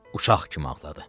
Uşaq kimi ağladı.